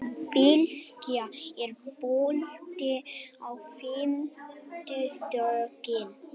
Bylgja, er bolti á fimmtudaginn?